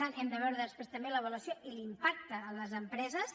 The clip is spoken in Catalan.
n’hem de veure després també l’avaluació i l’impacte a les empreses